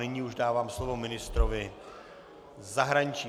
Nyní už dávám slovo ministrovi zahraničí.